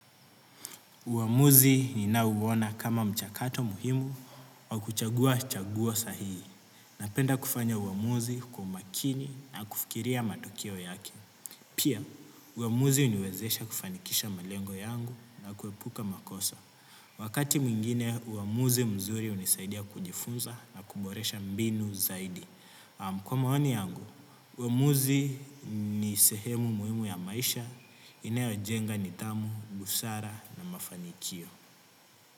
Uamuzi ninauona kama mchakato muhimu au kuchagua chagua sahihi. Napenda kufanya uamuzi kwa umakini na kufikiria matokeo yake. Pia, uamuzi huniwezesha kufanikisha malengo yangu na kuepuka makosa. Wakati mwingine, uwmamuzi mzuri hunisaidia kujifunza na kuboresha mbinu zaidi. Kwa maoni yangu, uamuzi ni sehemu muhimu ya maisha, inayojenga nidhamu, busara na mafanikio.